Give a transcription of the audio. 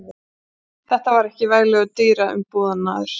Þetta var ekki veglegur dyraumbúnaður.